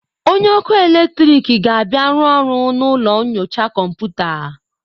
Onye ọkụ eletriki ga-abịa rụọ ọrụ na ụlọ nyocha kọmputa.